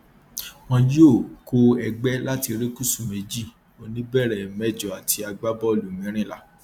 wọn yóò kó ẹgbẹ láti erékùṣù méjì oníbẹrẹ méjọọ àti agbábọọlù mẹrìnlá